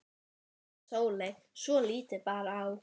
Þar næst sungu þeir nokkur lög, Árni Thorsteinsson og Steingrímur